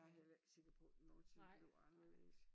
Jeg heller ikke sikker på det nogensinde blev anderledes